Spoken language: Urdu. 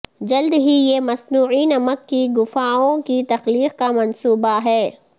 جلد ہی یہ مصنوعی نمک کی گفاوں کی تخلیق کا منصوبہ ہے